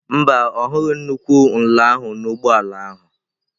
Mba, ọ hụghị nnukwu nla ahụ n'ụgbọ ala ahụ.